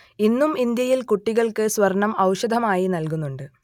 ഇന്നും ഇന്ത്യയിൽ കുട്ടികൾക്ക് സ്വർണ്ണം ഔഷധമായി നൽകുന്നുണ്ട്